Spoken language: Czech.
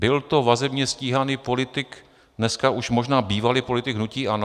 Byl to vazebně stíhaný politik, dneska už možná bývalý politik hnutí ANO?"